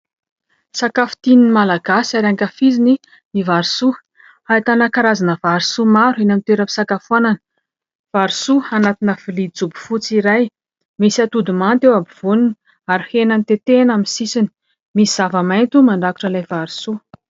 Sakafo tian'ny Malagasy ary ankafiziny ny vary soa. Ahitana karazana vary soa maro eny amin'ny toeram-pisakafoanana. Vary soa anatina vilia jobo fotsy iray, misy atody manta eo ampovoany ary hena notetehana amin'ny sisiny ; misy zava-maitso mandrakotra ilay vary soa.